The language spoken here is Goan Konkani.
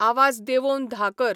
आवाज देंवोवन धा कर